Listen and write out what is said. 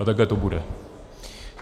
A takhle to bude.